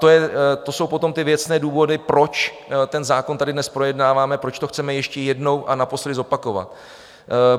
To jsou potom ty věcné důvody, proč ten zákon tady dnes projednáváme, proč to chceme ještě jednou a naposledy zopakovat.